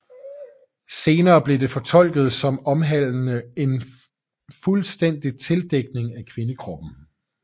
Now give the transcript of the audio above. Senere blev det fortolket som omhandlende en fuldstændig tildækning af kvindekroppen